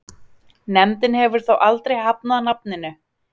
Nefndin hefur þó aldrei hafnað nafninu.